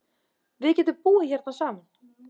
Við getum búið hérna saman.